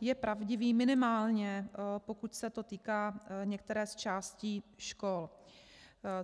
je pravdivý, minimálně pokud se to týká některé z částí škol.